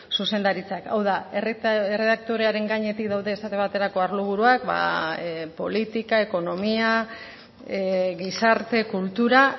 zuzendaritzak hau da erredaktorearen gainetik daude esate baterako arlo buruak politika ekonomia gizarte kultura